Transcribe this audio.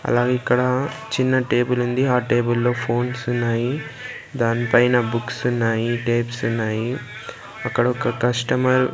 అలాగే ఇక్కడ చిన్న టేబుల్ ఉంది ఆ టేబుల్ లో ఫోన్స్ ఉన్నాయి దాని పైన బుక్స్ ఉన్నాయి టేప్స్ ఉన్నాయి అక్కడ ఒక కస్టమర్ --